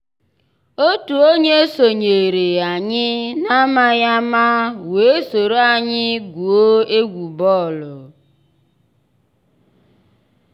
ótú ónyé sonyééré ànyị́ n'àmàghị́ àmá weé sòró ànyị́ gwúó égwu bọ́ọ̀lụ́.